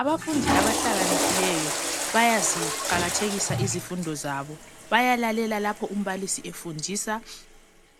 Abafundi abahlakaniphileyo bayaziqakathekisa izifundo zabo. Bayalalela lapho umbalisi efundisa